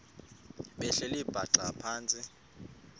behleli bhaxa phantsi